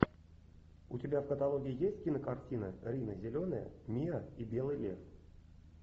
у тебя в каталоге есть кинокартина рина зеленая миа и белый лев